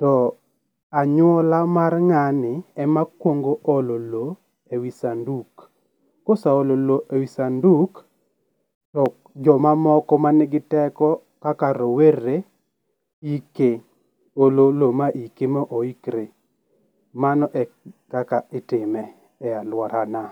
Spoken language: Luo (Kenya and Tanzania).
to anyuola mar ng'ani ema kuongo olo loo e wii sanduk ka oseolo loo e wii sanduk to jo mamoko man gi teko kaka rowere ike, olo loo ma ike ma oikre . Mano e kaka itime e aluorana.